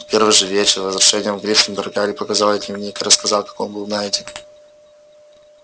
в первый же вечер возвращения в гриффиндор гарри показал ей дневник и рассказал как он был найден